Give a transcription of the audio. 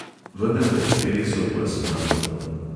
Vendar pa je feliksov pes mrtev.